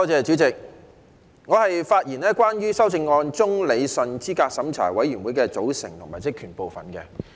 主席，我的發言是關於修正案中有關理順候選人資格審查委員會的組成及職權的部分。